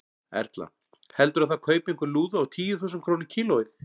Erla: Heldurðu að það kaupi einhver lúðu á tíu þúsund krónur kílóið?